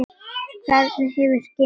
Hvernig hefur gengið?